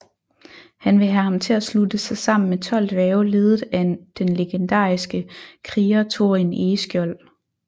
Han vil have ham til at slutte sig sammen med 12 dværge ledet af den legendariske kriger Thorin Egeskjold